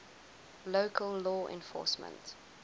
local law enforcement